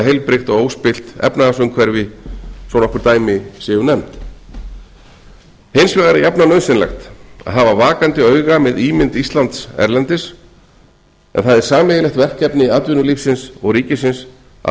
heilbrigt og óspillt efnahagsumhverfi svo nokkur dæmi séu nefnd hins vegar er jafnan nauðsynlegt að hafa vakandi auga með ímynd íslands erlendis en það er sameiginlegt verkefni atvinnulífsins og ríkisins að